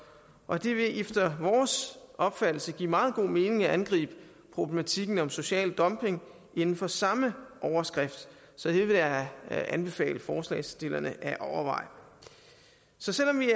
og det vil efter vores opfattelse give meget god mening at angribe problematikken om social dumping inden for samme overskrift så det vil jeg anbefale forslagsstillerne at overveje så selv om vi